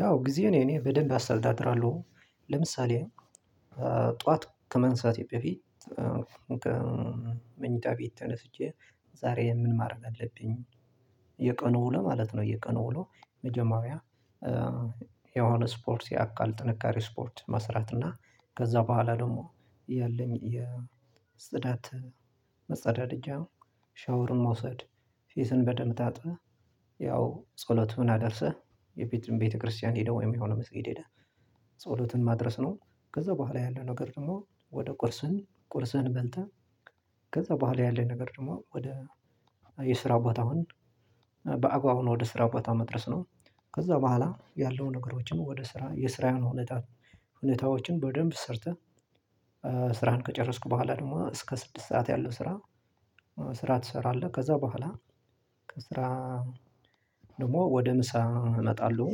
ያው ጊዜ እኔ እኔ በደንብ አስተዳድራለሁ። ለምሳሌ ጠዋት ከመንሳቴ በፊት መኝታ ቤት ተነስቼ ዛሬ ምን ማድረግ አለብኝ? የቀኑ ውሎ ማለት ነው። የቀኑ ውሎ መጀመሪያ የሆነ ስፖርት የአካል ጥንካሬ ስፖርት መስራት እና ከዛ በኋላ ደግሞ ያለኝ የጽዳት መጸዳደጃ ሻወርን መውሰድ ፊትን በደምብ ታጥበህ ያው ጸሎትን አደርሰህ የቤት ቤተክርስቲያን ሄደው ወይም የሆነ መስጊድ ሄደ። ጸሎትን ማድረስ ነው። ከዛ በኋላ ያለ ነገር ደግሞ ወደ ቁርሱን ቁርሱን በልተህ ከዛ በኋላ ያለኝ ነገር ደግሞ ወደ የስራ ቦታውን በአግባቡ ወደ ስራ ቦታ መድረስ ነው። ከዛ በኋላ ያለውን ነገሮችን ወደ ስራ የስራ ሁኔታሁኔታዎችን በደንብ ሰርተህ። ስራየን ከጨረስኩ በኋላ ደግሞ እስከ ስድስት ሰዓት ያለው ስራ። ስራ ትሰራለህ ከዛ በኋላ ከስራ ደግሞ ወደ ምሳ እመጣለሁ።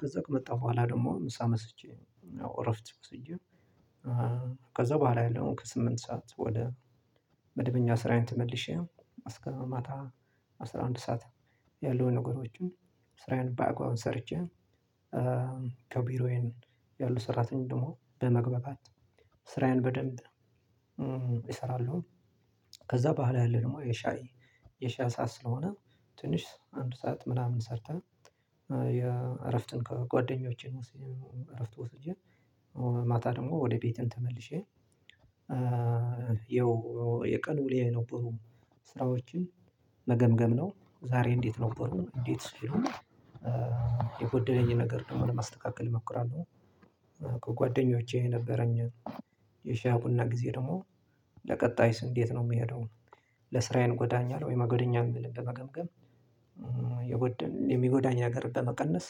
ከዛ ከመጣሁ በኋላ ደግሞ ምሳ መስጬ እረፍት ወስጄ። ከዛ በኋላ ያለውን ከስምንት ሰዓት ወደ መድበኛ ስራዬን ተመልሼ እስከ ማታ አስራ አንድ ሰዓት ያሉ ነገሮችን ስራዬን በአግባቡ ሰርቼ ከቢሮዬን ያሉ ሰራተኞች ደግሞ በመግባት ስራዬን በደንብ እሰራለሁ። ከዛ በኋላ ያለው ደግሞ የሻይ የሻይ ሰዓት ስለሆነ ትንሽ አንድ ሰዓት ምናምን ሰርተህ የእረፍትን ከጓደኞቼ ነው እረፍት ወስጄ ማታ ደግሞ ወደ ቤትም ተመልሼ። የው የቀን ውልዬ የነበሩ ስራዎችን መገምገም ነው። ዛሬ እንዴት ነው ነበርኩኝ እንዴት ስሩን የጎደለኝ ነገር ደግሞ ለማስተካከል እሞክራለሁ። ከጓደኞቼ የነበረኝን የሻያ ቡና ጊዜ ደግሞ ለቀጣይስ እንዴት ነው የምሄደው? ለስራዬን ይጎዳኛል ወይም አይጎዳኛም ብለህ በመገምገም የጎደል የሚጎዳኝ ነገር በመቀነስ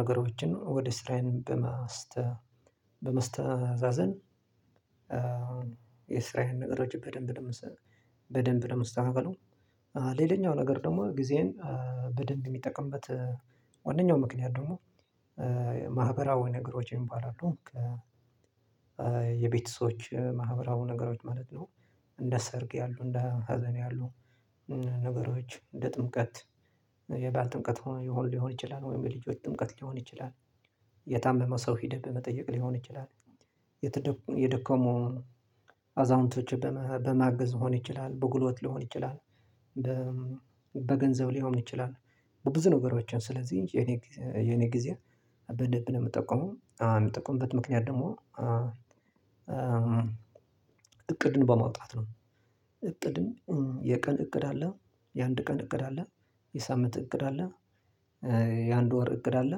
ነገሮችን ወደ ስራአየ በመስተ በመስተዛዘን። የስራየን ነገሮችን በደንብ በደንብ መስ በደንብ ማስተካክለው። ሌላኛው ነገር ደግሞ ጊዜን በደንብ የሚጠቅምበት ዋናው ምክንያት ደግሞ ማህበራዊ ነገሮችን ይባላሉ። የቤተሰቦች ማህበራዊ ነገሮች ማለት ነው። እንደ ሰርግ ያሉ እንደ ሀዘን ያሉ ነገሮች እንደ ጥምቀት የባዓል ጥምቀት ሊሆን ይችላል ወይም የልጆች ጥምቀት ሊሆን ይችላል። የታመመ ሰው ሂድህ በመጠየቅ ሊሆን ይችላል። የተ የደከሙ አዛውንቶች በማገዝ ሊሆን ይችላል በጉልበት ሊሆን ይችላል። በገንዘብ ሊሆን ይችላል። በብዙ ነገሮችን ስለዚህ የኔ የኔ ጊዜ በደንብ ነው የምጠቀመው የምጠቀምበት ምክንያት ደግሞ እቅድን በማውጣት ነው። እቅድን የቀን እቅድ አለ የአንድ ቀን እቅድ አለ የሳምንት እቅድ አለ። የአንድ ወር እቅድ አለ።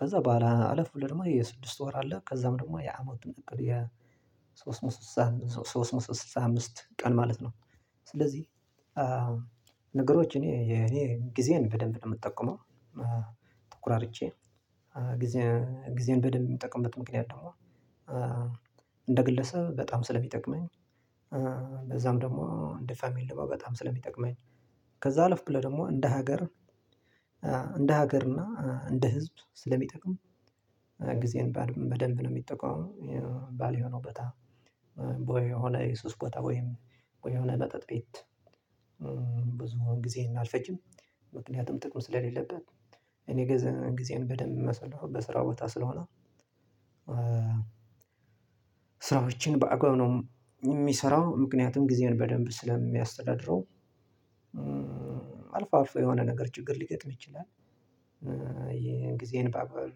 ከዛ በኋላ አለፍ ብለህ ደግሞ የስድስት ወር አለ ከዛም ደግሞ የአመቱን እቅድ የሶስት ሶስት መቶ ስልሳ አምስት ቀን ማለት ነው። ስለዚህ ነገሮች እኔ የኔ ጊዜን በደንብ ነው የምጠቀመው። ተኩራርቼ ጌዜ ጊዜን በደንብ የሚጠቅምበት ምክንያት ደግሞ እንደ ግለሰብ በጣም ስለሚጠቅመኝ በዛም ደግሞ እንደ ፋሚሊ ደግሞ በጣም ስለሚጠቅመኝ ከዛ አለፍ ብለህ ደግሞ እንደ ሀገር እንደ ሀገር እና እንደ ህዝብ ስለሚጠቅም ጊዜን በደንብ ነው የሚጠቀመው። ባልሆነ ቦታ ወይ የሆነ የሱስ ቦታ ወይም ወይ የሆነ መጠጥ ቤት ብዙ ጊዜ አልፈጅም። ምክንያቱም ጥቅም ስለሌለበት እኔ ጊዜየን በደንብ ማሳልፈው በስራው ቦታ ስለሆነ ስራዎችን በአግባቡ ነው የምሰራው ምክንያቱም ጊዜየን በደንብ ስለማስተዳድረው። አልፎ አልፎ የሆነ ነገር ችግር ሊገጥም ይችላል። የጊዜን በአግባብ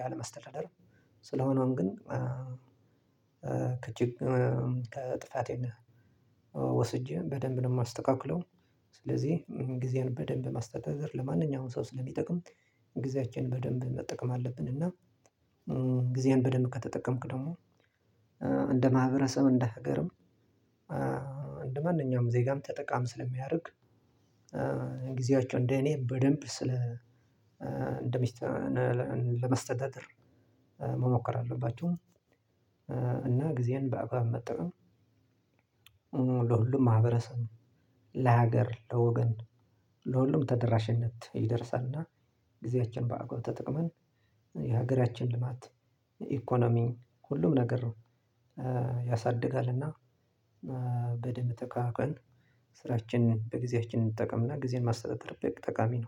ያለመስተዳደር ስለሆነውም ግን ከችግር ከጥፋቴ ወስጄ በደንብ ነው የማስተካክለው። ስለዚህ ጊዜን በደንብ ማስተዳደር ለማንኛውም ሰው ስለሚጠቅም ጊዜያችን በደንብ መጠቀም አለብን። እና ጊዜያን በደንብ ከተጠቀምክ ደግሞ እንደ ማህበረሰብ እንደ ሀገርም እንደ ማንኛውም ዜጋም ተጠቃሚ ስለሚያደርግ። ጊዜያቸውን እንደ እኔ በደንብ ስለ እንደሚስተ ለማስተዳደር መሞከር አለባችሁ። እና ጊዜን በአግባብ መጠቀም ለሁሉም ማህብረሰብ ለሀገር ለወገን ለሁሉም ተደራሽነት ይደርሳል። እና ጊዜያችን በአግባቡ ተጠቅመን የሀገራችን ልማት ኢኮኖሚ ሁሉም ነገር ነው። ያሳድጋል እና በደንብ ተከባክበን ስራችን በጊዜያችን እንጠቀምና ጊዜን ማስተዳደር በጠቃሚ ነው